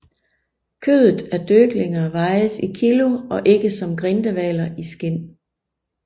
Kødet af døglinger vejes i kilo og ikke som grindehvaler i skinn